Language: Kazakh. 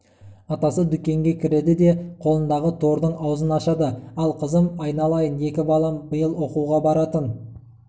атасы дүкенге кіреді де қолын-дағы тордың аузын ашады ал қызым айналайын екі балам биыл оқуға баратын